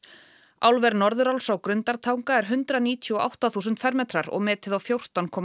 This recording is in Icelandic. álver Norðuráls á Grundartanga er hundrað níutíu og átta þúsund fermetrar og metið á fjórtán komma